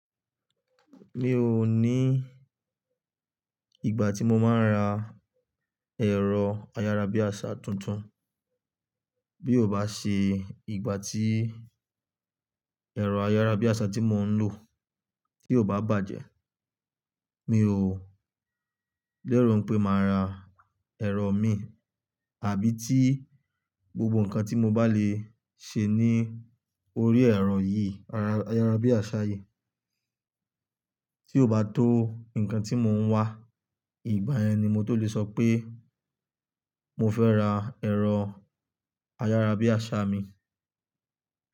Mi ò ní ìgbà tí mo máa n ra ẹ̀rọ ayárabíàṣá tuntun. Bí ó bá ṣe ìgbà tí ẹ̀rọ ayárabíàṣá tí mò ń lò tí ò bá bàjẹ́, mi ò lérò pé màá ra ẹ̀rọ mi àbí tí gbogbo nǹkan tí mo bá lè ṣe ní orí ẹ̀rọ yìí, ayárabíàṣá yìí tí ò bá tó nǹkan tí mò ń wá. Ìgbà yẹn ni mo tó lè sọ pé mo fẹ́ ra ẹ̀rọ ayárabíàṣá mi.